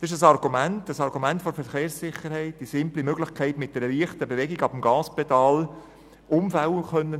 Es ist ein Argument der Verkehrssicherheit mit der simplen Möglichkeit einer leichten Bewegung weg vom Gaspedal, um Unfälle zu vermeiden.